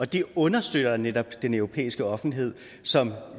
det understøtter netop den europæiske offentlighed som